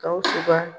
Gawusu ka